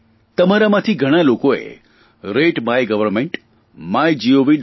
તમારામાંથી ઘણા લોકોએ રતે માય ગવર્નમેન્ટ mygov